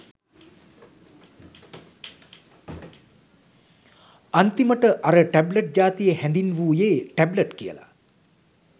අන්තිමට අර ටැබ්ලට් ජාතිය හැදින්වුවෙ ටැබ්ලට් කියල.